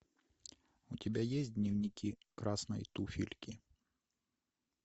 у тебя есть дневники красной туфельки